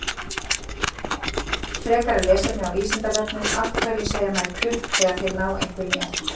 Frekara lesefni á Vísindavefnum: Af hverju segja menn klukk þegar þeir ná einhverjum í eltingaleik?